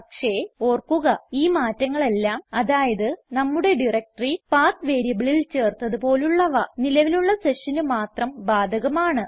പക്ഷേ ഓർക്കുക ഈ മാറ്റങ്ങളെല്ലാം അതായത് നമ്മുടെ ഡയറക്ടറി പത്ത് വേരിയബിളിൽ ചേർത്തത് പോലുള്ളവ നിലവിലുള്ള sessionന് മാത്രം ബാധകമാണ്